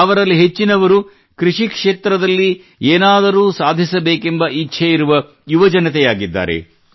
ಅವರಲ್ಲಿ ಹೆಚ್ಚಿನವರು ಕೃಷಿ ಕ್ಷೇತ್ರದಲ್ಲಿ ಏನಾದರೂ ಸಾಧಿಸಬೇಕೆಂಬ ಇಚ್ಛೆಯಿರುವ ಯವಜನತೆಯಾಗಿದ್ದಾರೆ